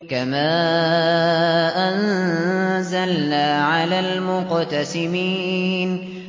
كَمَا أَنزَلْنَا عَلَى الْمُقْتَسِمِينَ